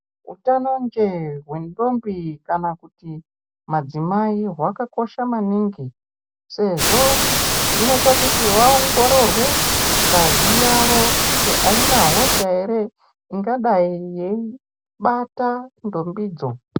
Utano njee hwentombi kana kuti madzimai hwakakosha maningi sezvo zvinoita kuti vaongororwe ngazi yavo kuti aina hosha ere ingadayi yeibata ntombidzo.